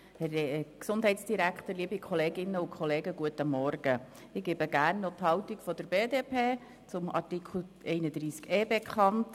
Ich gebe hier gerne noch die Haltung der BDP-Fraktion zum Artikel 31e (neu) bekannt.